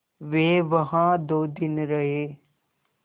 वे वहाँ दो दिन रहे